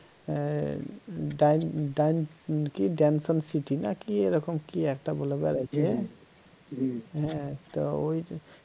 হ্যাঁ ডেন ডেন ~কি danson city না কি এরকম না কি একটা বলে বের হইছে হ্যা তা ওই